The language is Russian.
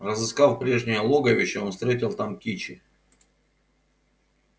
разыскав прежнее логовище он встретил там кичи